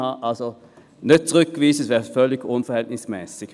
Deshalb nicht zurückweisen, dies wäre völlig unverhältnismässig.